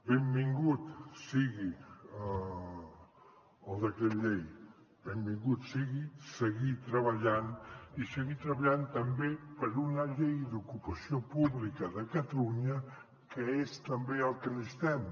benvingut sigui el decret llei benvingut sigui seguir treballant i seguir treballant també per una llei d’ocupació pública de catalunya que és també el que necessitem